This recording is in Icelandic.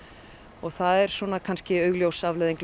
og það er kannski augljós afleiðing